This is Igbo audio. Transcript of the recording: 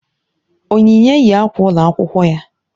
Onyinye yi akwa ụlọ akwụkwọ ya